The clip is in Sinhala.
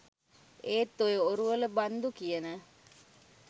ඒත් ඔය ඔරුවල බන්දු කියන